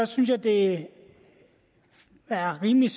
synes jeg det er rimeligt